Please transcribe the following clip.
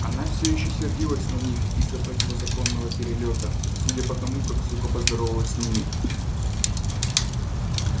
она всё ещё сердилась на них из-за противозаконного перелёта судя по тому как сухо поздоровалась с ними